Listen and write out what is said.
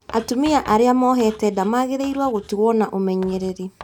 Atumia arĩa mohete nda magĩrĩirũo gũtungatwo na ũmenyereri